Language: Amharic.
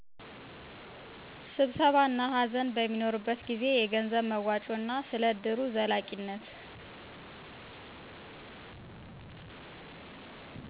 ስብሰባ እና ሃዘን በሚኖርበት ጊዜ። የገንዘብ መዋጮ እና ስለ እድሩ ዘላቂነት